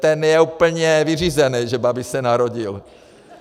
Ten je úplně vyřízený, že Babiš se narodil!